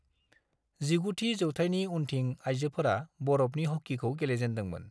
19 थि जौथायनि उन्थिं आयजोफोरा बरफनि हकीखौ गेलेजेनदोंमोन।